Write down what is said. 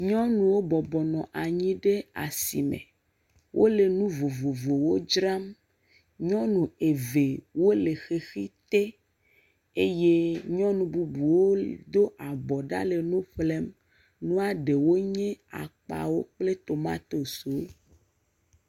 Nyɔnuwo bɔbɔnɔ anyi ɖe asi me. Wole enu vovovowo dram. Nyɔnu eve wo le xexi te eye nyɔnu bubuwo li do abɔ ɖa le nu ƒlem. Nua ɖewo nye akpawo kple tomatosiwo.